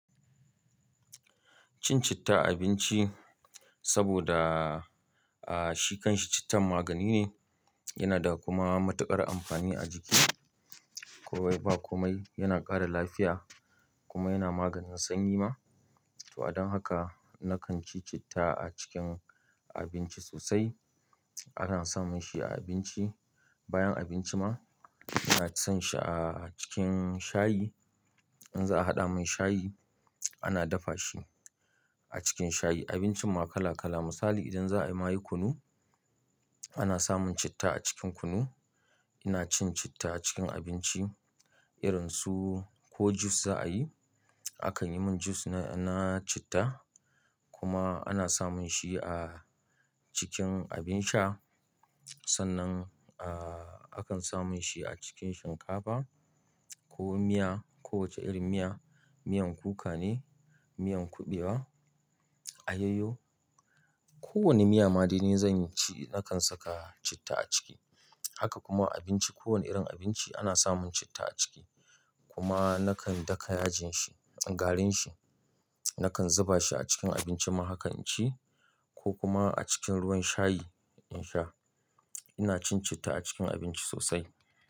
Cin citta a abinci saboda, shi kanshi cittan magani ne, yana da kuma matuƙar amfani a jiki. Komai ba komai, yana ƙara lafiya kuma yana maganin sanyi ma. To adon haka nakan ci citta a cikin abinci sosai. Ana samun shi a abinci, bayan abinci ma. Ina son shi a cikin shayi. In za a haɗa mai shayi, ana dafa shi a cikin shayi. Abincin ma kala kala. Misali idan za a yi mayu kunu, ana samun citta a cikin kunu. Ina cin citta a cikin abinci. Irin su ko jus za a yi, a kan yi mun jus na citta. Kuma ana samun shi a cikin abin sha. Sannan, akan samun shi a cikin shinkafa ko miya, kowace irin miya, miyan kuka ne, miyan kuɓewa, ayoyo. Ko wani miya ma da ni zan ci nakan saka citta a ciki. Haka kuma abinci, kowane irin abinci ana sa mun citta a ciki. Kuma nakan daka yajin shi, garin shi. Nakan zuba shi a cikin abinci ma hakan ci ko kuma a cikin ruwan shayi in sha. Ina cin citta a cikin abinci sosai.